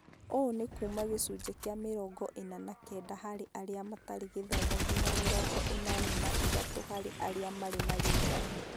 Ũũ nĩ kuuma gĩcunjĩ kĩa mĩrongo ĩna na kenda harĩ arĩa matarĩ gĩthomo nginya mĩrongo ĩnana na ithatũ harĩ arĩa marĩ na gĩthomo